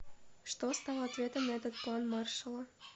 что стало ответом на этот план маршалла